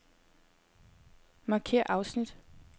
Markér afsnit.